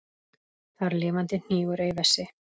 Þar lifandi hnígur ei vessi.